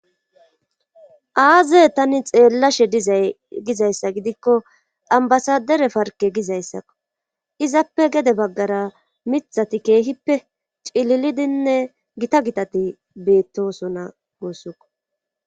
aaze tani xeellashe dizay gizayssa gidikko ambasadere parke gizayssakko izappe gede baggara mithati keehippe cililidinne gita gitati beettosona guussuko